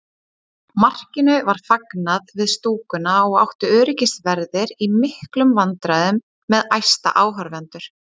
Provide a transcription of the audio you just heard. Markinu var fagnað við stúkuna og áttu öryggisverðir í miklum vandræðum með æsta áhorfendur.